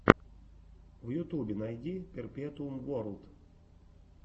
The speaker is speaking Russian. в ютубе найди перпетуум уорлд